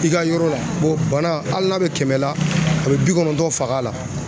I ka yɔrɔ la o bana hali n'a bɛ kɛmɛ la a bɛ bi kɔnɔntɔn faga a la.